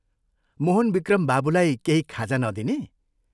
मोहनविक्रम बाबुलाई केही खाजा नदिने?